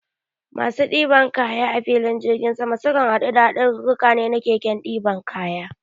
Masu ɗiban kaya a filin jirgin sama, sukan haɗu da haɗarurruka na keken ɗiban kaya.